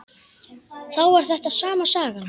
Þá var þetta sama sagan.